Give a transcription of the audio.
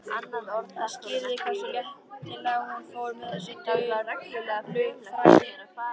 Það skýrði hversu léttilega hún fór með þessi duldu fræði.